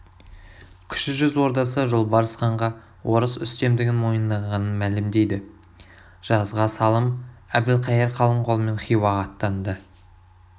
кіші жүз ордасы жолбарыс ханға орыс үстемдігін мойындағанын мәлімдейді жазға салым әбілқайыр қалың қолмен хиуаға аттанды